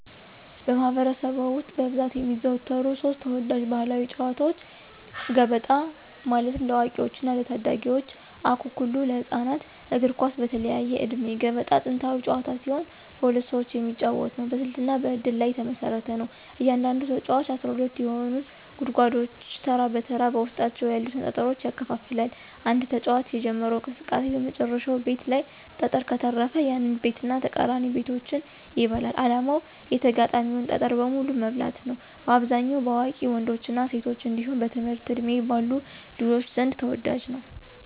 በማኅበረሰብ ውስጥ በብዛት የሚዘወተሩ ሦስት ተወዳጅ ባሕላዊ ጨዋታዎች፦ ገበጣ (ለአዋቂዎችና ለታዳጊዎች) ፣አኩኩሉ (ለህፃናት)፣ እግር ኳስ (በተለያየ ዕድሜ)። ገበጣ ጥንታዊ ጨዋታ ሲሆን በሁለት ሰዎች የሚጫወት ነው። በስልትና በእድል ላይ የተመሰረተ ነው። እያንዳንዱ ተጫዋች 12 የሆኑትን ጉድጓዶች ተራ በተራ በውስጣቸው ያሉትን ጠጠሮች ያከፋፍላል። አንድ ተጫዋች የጀመረው እንቅስቃሴ በመጨረሻው ቤት ላይ ጠጠር ከተረፈ፣ ያንን ቤትና ተቃራኒ ቤቶችን ይበላል። ዓላማው የተጋጣሚን ጠጠር በሙሉ መብላት ነው። በአብዛኛው በአዋቂ ወንዶችና ሴቶች እንዲሁም በትምህርት ዕድሜ ባሉ ልጆች ዘንድ ተወዳጅ ነው።